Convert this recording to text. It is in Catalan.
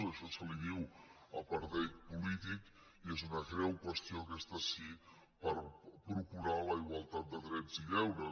a ai·xò se li diu apartheid polític i és una greu qüestió aquesta sí per procurar la igualtat de drets i deures